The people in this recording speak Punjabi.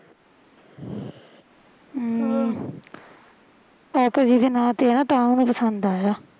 ਅਮ ਦੇ ਨਾ ਤੇ ਆ ਤਾਂ ਉਹਨੂੰ ਪਸੰਦ ਆਇਆ